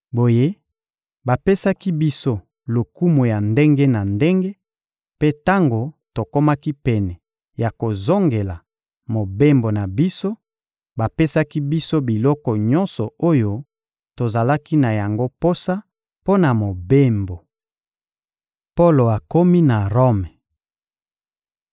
Boye, bapesaki biso lokumu ya ndenge na ndenge; mpe tango tokomaki pene ya kozongela mobembo na biso, bapesaki biso biloko nyonso oyo tozalaki na yango posa mpo na mobembo. Polo akomi na Rome